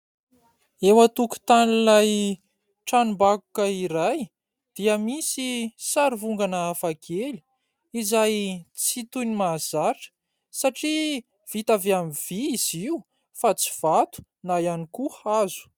Eo antokotanin'ilay tranom-bakoka iray dia misy sary vongana hafakely izay tsy toy ny mahazatra satria vita avy amin'ny vy izy io fa tsy vato na ihany koa hazo.